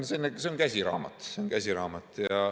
See on käsiraamat.